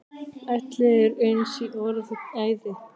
Allir eins í orði og æði.